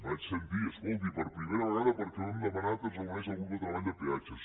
vaig sentir escolti per primera vegada perquè ho hem demanat es reuneix el grup de treball de peatges